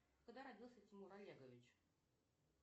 когда родился тимур олегович